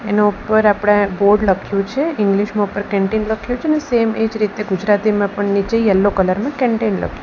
એની ઉપર આપણે બોર્ડ લખ્યુ છે ઇંગ્લીસ માં ઉપર કેન્ટીન લખ્યું છે ને સેમ એ જ રીતે ગુજરાતીમાં પણ નીચે યેલ્લો કલર માં કેનટેન લખ્યું --